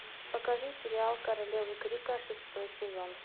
покажи сериал королевы крика шестой сезон